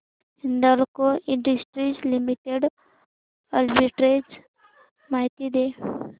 Hindalco industries limited arbitrage माहिती दे